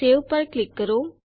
save પર click કરો